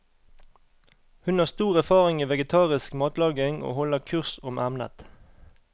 Hun har stor erfaring i vegetarisk matlaging og holder kurs om emnet.